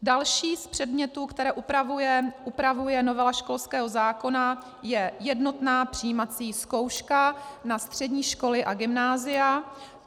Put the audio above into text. Další z předmětů, které upravuje novela školského zákona je jednotná přijímací zkouška na střední školy a gymnázia.